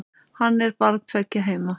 Hann er barn tveggja heima.